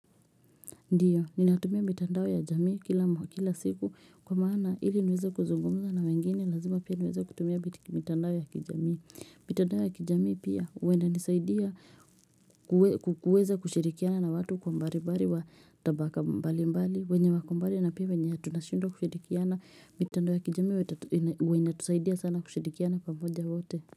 Ndiyo ninatumia mitandao ya jamii kila siku kwa maana ili niweza kuzungumza na wengine lazima pia niweza kutumia mitandao ya kijamii mitandao ya kijamii pia uweze kushirikiana na watu kwa mbali mbali wa tabaka mbali mbali wenye wako mbali na pia wenye tunashindwa kushirikiana mitandao ya kijamii huwa inatusaidiana sana kushirikiana pamoja wote.